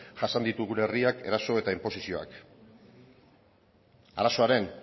jasan ditu gure herriak eraso eta inposizioak arazoaren